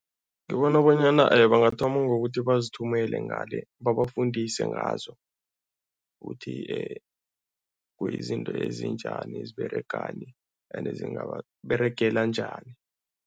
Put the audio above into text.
Ngibona bonyana bangathoma ngokuthi bazithumele ngale, babafundise ngazo ukuthi kuyizinto ezinjani, eziberegani ende zingababeregela njani.